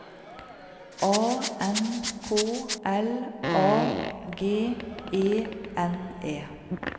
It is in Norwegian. A N K L A G E N E